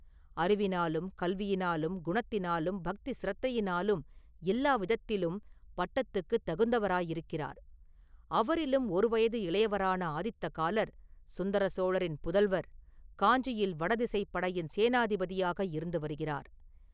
அறிவினாலும் கல்வியினாலும் குணத்தினாலும் பக்தி சிரத்தையினாலும் எல்லா விதத்திலும் பட்டத்துக்கு தகுந்தவராயிருக்கிறார் அவரிலும் ஒரு வயது இளையவரான ஆதித்த காலர், சுந்தர சோழரின் புதல்வர், காஞ்சியில் வடதிசைப் படையின் சேனாதிபதியாக இருந்து வருகிறார்.